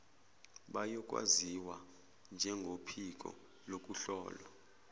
bayokwaziwa njengophiko lokuhlolwa